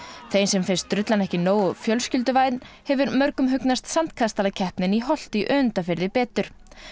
þeim sem finnst drullan ekki nógu fjölskylduvæn hefur mörgum hugnast sandkastalakeppnin í Holti í Önundarfirði betur